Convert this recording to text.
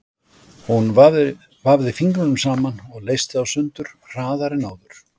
Hún vafði fingrunum saman og leysti þá sundur hraðar en áður.